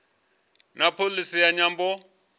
na pholisi ya nyambo